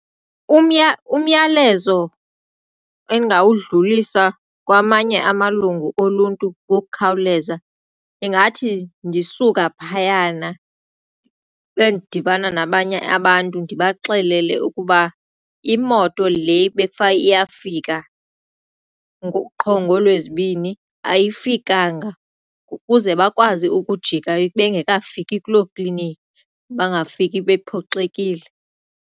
Umyalezo endingawudlulisa kwamanye amalungu oluntu ngokukhawuleza ingathi ndisuka phayana ndibe ndidibana nabanye abantu ndibaxelele ukuba imoto le bakufanele iyafika qho ngoolwezibini ayifikanga ukuze bakwazi ukujika bengekafiki kuloo kliniki bangafiki bephoxekile.